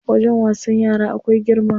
Wajen wasan yara akwai girma.